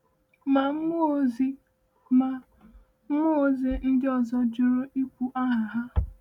Ma, mmụọ ozi Ma, mmụọ ozi ndị ọzọ jụrụ ikwu aha ha.